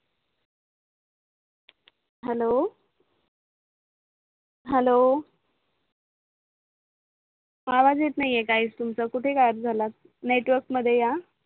hello hello आवाज येत नाही आहे काहीच तुमचा कुठे गायप झालात नेटवर्क मध्ये या